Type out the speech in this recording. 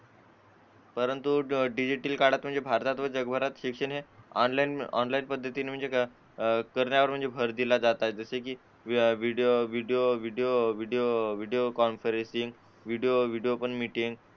परंतु डिजिटल काळा म्हणजे भारतात जगभरात शिक्षण ऑनलाइन पद्धतीने करण्यावर म्हणजे भर दिला जात आहे video video video video video video video conferencing video meeting